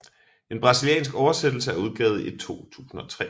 En brasiliansk oversættelse er udgivet i 2003